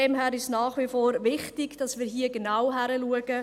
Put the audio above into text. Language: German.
Daher ist es nach wie vor wichtig, dass wir hier genau hinschauen.